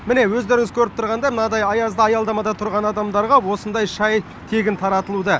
міне өздеріңіз көріп тұрғандай мынайдай аязды аялдамада тұратын адамдарға осындай шай тегін таратылуда